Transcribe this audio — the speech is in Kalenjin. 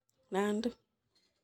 Nandi